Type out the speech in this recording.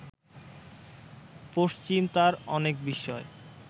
পশ্চিম তার অনেক বিষয়